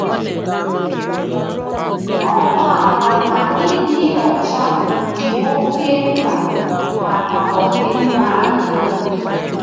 Ọ maara na ịdị ọcha dị oké mkpa maka ọdịmma anyị.